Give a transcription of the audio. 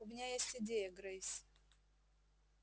у меня есть идея грейс